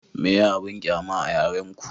meye abun ƙyama a yaren ku?